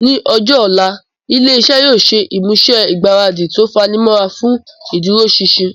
Ní ọjọ́ ọ̀la, ilé iṣẹ́ yóò ṣe ìmúṣe ìgbáradì tó fanimọ́ra fún ìdúróṣinṣin